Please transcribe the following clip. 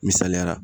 Misaliya la